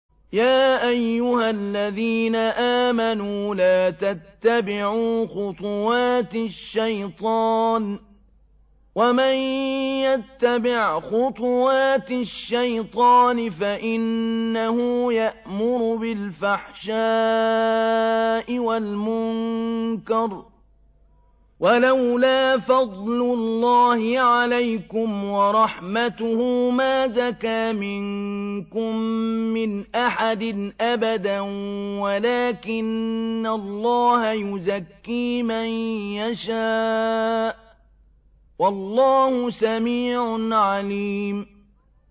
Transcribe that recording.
۞ يَا أَيُّهَا الَّذِينَ آمَنُوا لَا تَتَّبِعُوا خُطُوَاتِ الشَّيْطَانِ ۚ وَمَن يَتَّبِعْ خُطُوَاتِ الشَّيْطَانِ فَإِنَّهُ يَأْمُرُ بِالْفَحْشَاءِ وَالْمُنكَرِ ۚ وَلَوْلَا فَضْلُ اللَّهِ عَلَيْكُمْ وَرَحْمَتُهُ مَا زَكَىٰ مِنكُم مِّنْ أَحَدٍ أَبَدًا وَلَٰكِنَّ اللَّهَ يُزَكِّي مَن يَشَاءُ ۗ وَاللَّهُ سَمِيعٌ عَلِيمٌ